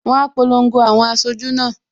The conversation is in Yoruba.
Wọn á polongo àwọn aṣojú náà